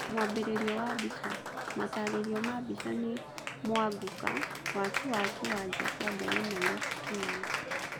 Mwanjĩrĩrio wa Mbica, Matarĩrio ma mbica nĩ Mwangũka, Waki wa kĩeanja kĩa ndege Nairobi, Kenya.